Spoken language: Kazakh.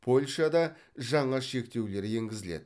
польшада жаңа шектеулер енгізіледі